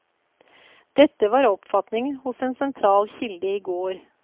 Dette var oppfatningen hos en sentral kilde i går.